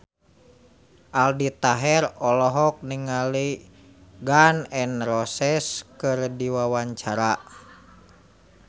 Aldi Taher olohok ningali Gun N Roses keur diwawancara